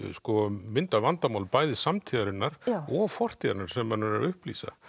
mynd af vandamálum bæði samtíðarinnar og fortíðarinnar sem hann er að upplýsa